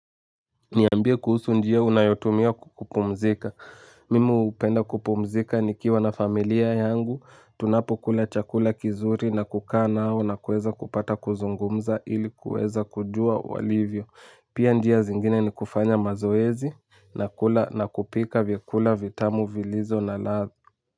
Niambia kuhusu njia unayotumia kupumzika. Mimi hupenda kupumzika nikiwa na familia yangu. Tunapo kula chakula kizuri na kukaa nao na kuweza kupata kuzungumza ili kuweza kujua walivyo. Pia njia zingine ni kufanya mazoezi na kula na kupika vyakula vitamu vilizo na lath.